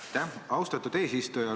Aitäh, austatud eesistuja!